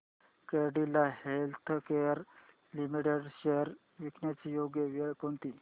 Cadila healthcare limited shares विकण्याची योग्य वेळ कोणती